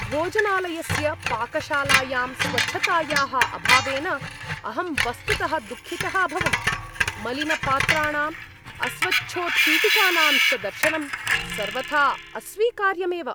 भोजनालयस्य पाकशालायां स्वच्छतायाः अभावेन अहं वस्तुतः दुःखितः अभवम्। मलिनपात्राणाम्, अस्वच्छोत्पीठिकानां च दर्शनं सर्वथा अस्वीकार्यमेव।